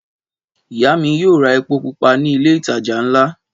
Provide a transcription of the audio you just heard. Ìyá mi yóò ra epo pupa ni ilé-ìtajà ńlá.